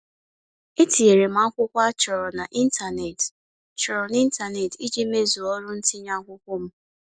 E tinyere m akwụkwọ a chọrọ n'ịntaneetị chọrọ n'ịntaneetị iji mezuo ọrụ ntinye akwụkwọ m.